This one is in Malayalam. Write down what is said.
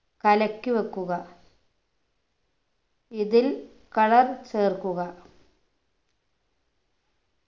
കലക്കി വെക്കുക ഇതിൽ color ചേർക്കുക